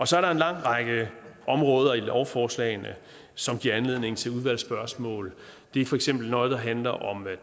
så er der en lang række områder i lovforslagene som giver anledning til udvalgsspørgsmål det er for eksempel noget der handler om at